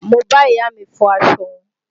Mo bá ìyá mi fọ aṣọ wọn